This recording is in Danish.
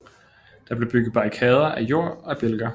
Der blev bygget barrikader af jord og bjælker